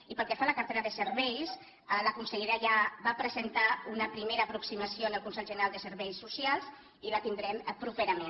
i pel que fa a la cartera de serveis la consellera ja va presentar una primera aproximació en el consell general de serveis socials i la tindrem properament